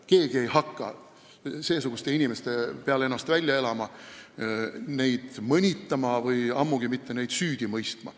Keegi ei hakka ennast seesuguste inimeste peal välja elama, neid mõnitama, ammugi mitte süüdi mõistma.